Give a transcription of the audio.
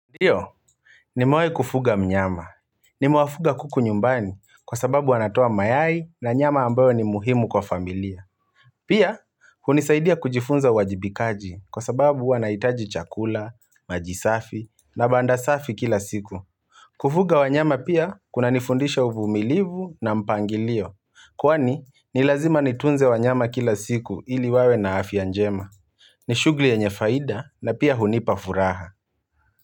Ndio, ni mewaikufuga mnyama. Nimewafuga kuku nyumbani kwa sababu wanatoa mayai na nyama ambayo ni muhimu kwa familia. Pia, hunisaidia kujifunza uwajibikaji kwa sababu wanaitaji chakula, majisafi na banda safi kila siku. Kufuga wanyama pia kuna nifundisha uvumilivu na mpangilio. Kwani, nilazima nitunze wanyama kila siku ili wawe na afya njema. Nishugli yenye faida na pia hunipa furaha.